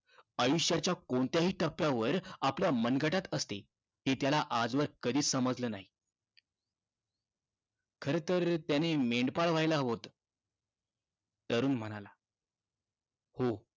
आयुष्याच्या कोणत्याही टप्प्यावर आपल्या मनगटात असते हे त्याला आजवर कधीच समजलं नाही. खरंतर, त्यानं मेंढपाळ व्हायला हवं होतं. तरुण म्हणाला. हो.